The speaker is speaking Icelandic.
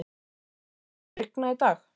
Bótólfur, mun rigna í dag?